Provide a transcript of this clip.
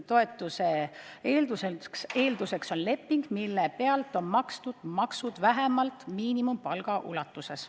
Toetuse eelduseks on leping, mille puhul on makstud maksud vähemalt miinimumpalga ulatuses.